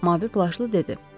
Mavi plaşlı dedi.